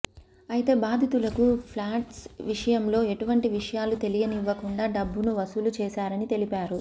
అయితే బాధితులకు ఫ్లాట్స్ విషయంలో ఎటువంటి విషయాలు తెలియనివ్వకుండా డబ్బును వసూలు చేశారని తెలిపారు